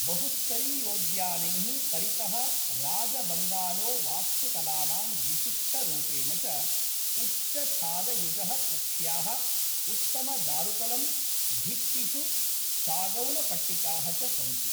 बहुस्तरीयोद्यानैः परितः राजबंगलोवास्तुकलानां विशिष्टरूपेण च, उच्चछादयुजः कक्ष्याः, उत्तमदारुतलम्, भित्तिषु सागौनपट्टिकाः च सन्ति